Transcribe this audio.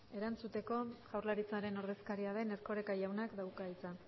erantzuteko jaurlaritzaren ordezkaria den erkoreka jaunak dauka hitza